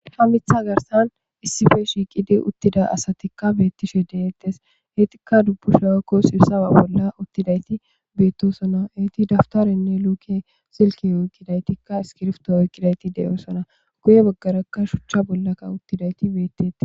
ha mitha garsan issife shiiqidi uttida asatikka beettishe deettes eetikka dubbusha waykko sibsaba bolla uttidayti beettosona eeti daftarenne luuke silki uykidaytikka iskirfto oykqidayti deyoosona guye baggarakka shuchcha bollakka uttidayti beettete